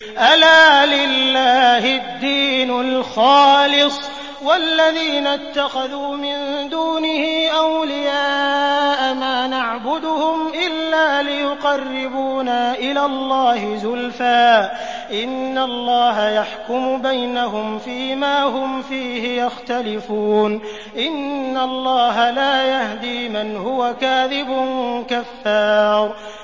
أَلَا لِلَّهِ الدِّينُ الْخَالِصُ ۚ وَالَّذِينَ اتَّخَذُوا مِن دُونِهِ أَوْلِيَاءَ مَا نَعْبُدُهُمْ إِلَّا لِيُقَرِّبُونَا إِلَى اللَّهِ زُلْفَىٰ إِنَّ اللَّهَ يَحْكُمُ بَيْنَهُمْ فِي مَا هُمْ فِيهِ يَخْتَلِفُونَ ۗ إِنَّ اللَّهَ لَا يَهْدِي مَنْ هُوَ كَاذِبٌ كَفَّارٌ